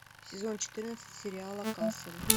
сезон четырнадцать сериала касл